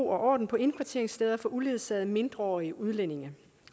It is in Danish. ro og orden på indkvarteringssteder for uledsagede mindreårige udlændinge